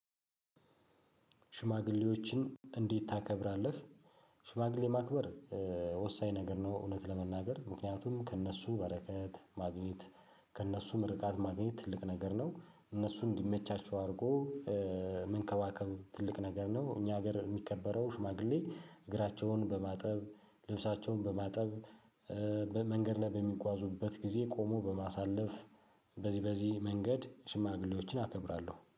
ሽማግሌዎችን እንዴት ታከብራለህ? ሽማግሌ ማክበር ወሳኝ ነገር ነው እውነት ለመናገር ምክንያቱም ከእነሱ በረከት ማግኘት ከእነሱ ምርቃት ማግኘት ትልቅ ነገር ነው። እነሱ እንዲመቻቸው አድርጎ መንከባከብ ትልቅ ነገር ነው። እኛ ሀገር የሚከበረው ሽማግሌ እግራቸውን በማጠብ ልብሳቸውን በማጠብ በመንገድ ላይ በሚጓዙበት ጊዜ ቆሞ በማሳለፍ በዚህ በዚህ መንገድ ሽማግሌዎችን አከብራለሁ